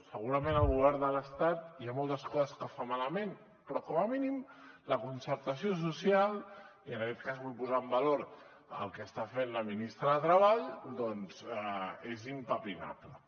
segurament el govern de l’estat hi ha moltes coses que fa malament però com a mínim la concertació social i en aquest cas vull posar en valor el que està fent la ministra de treball doncs és impepinable